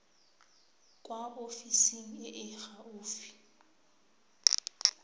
kwa ofising e e gaufi